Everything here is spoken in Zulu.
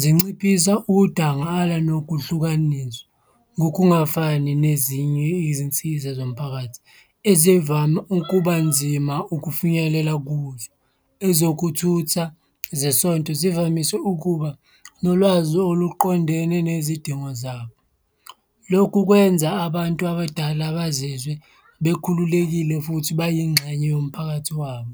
Zinciphisa udangala nokuhlukaniswa, ngokungafani nezinye izinsiza zomphakathi ezivame ukubanzima ukufinyelela kuzo. Ezokuthutha zesonto zivamise ukuba nolwazi oluqondene nezidingo zabo, lokhu kwenza abantu abadala bazizwe bekhululekile futhi beyingxenye yomphakathi wabo.